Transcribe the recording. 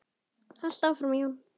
Haltu áfram Jón!